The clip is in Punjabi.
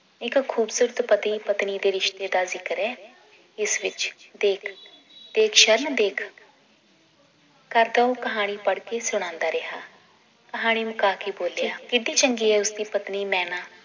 ਇੱਕ ਖੂਬਸੂਰਤ ਪਤੀ ਪਤਨੀ ਦੇ ਰਿਸ਼ਤੇ ਦਾ ਜ਼ਿਕਰ ਏ ਇਸ ਵਿਚ ਦੇਖ ਦੇਖ ਸ਼ਰਨ ਦੇਖ ਕਰਦਾ ਉਹ ਕਹਾਣੀ ਪੜ੍ਹ ਕੇ ਸੁਣਾਉਂਦਾ ਰਿਹਾ ਕਹਾਣੀ ਮੁਕਾ ਕੇ ਬੋਲਿਆ ਕਿੱਡੀ ਚੰਗੀ ਏ ਉਸ ਦੀ ਪਤਨੀ ਮੈਨਾ